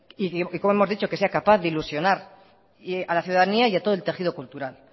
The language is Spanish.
y como hemos dicho que sea capaz de ilusionar a la ciudadanía y a todo el tejido cultural